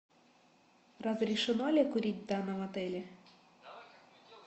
разрешено ли курить в данном отеле